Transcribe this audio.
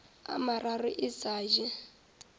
a mararo e sa je